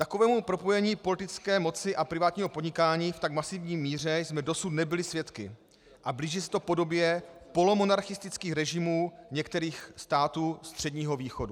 Takového propojení politické moci a privátního podnikání v tak masivní míře jsme dosud nebyli svědky a blíží se to podobě polomonarchistických režimů některých států Středního východu.